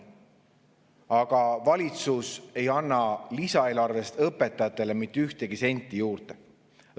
Aga valitsus ei anna lisaeelarvest õpetajatele mitte ühtegi senti juurde.